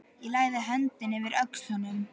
Ég lagði höndina yfir öxl honum.